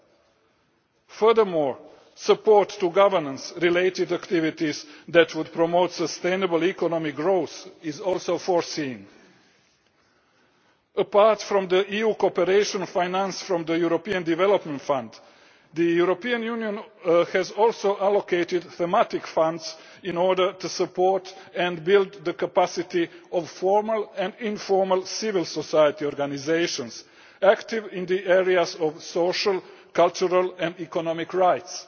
in Eritrea. In addition, support for governance related activities that would promote sustainable economic growth is also provided for. Apart from the EU cooperation financed from the European Development Fund, the European Union has also allocated thematic funds in order to support, and build the capacity of, formal and informal civil society organisations active in the areas of social, cultural and economic